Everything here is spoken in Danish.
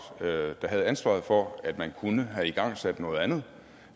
der havde ansvaret for at man kunne have igangsat noget andet